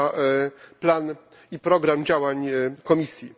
na plan i program działań Komisji.